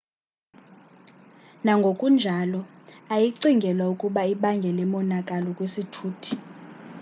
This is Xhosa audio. nangona kunjalo ayicingelwa ukuba ibangele monakalo kwisithuthi